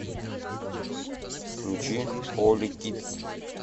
включи холи кидс